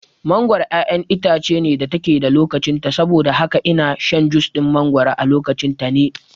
Mangoro ƴaƴar itace ce da take da lokacin ta saboda haka ina shan jus ɗin mangoro a lokacin ta ne